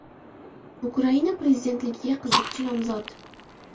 Ukraina prezidentligiga qiziqchi nomzod.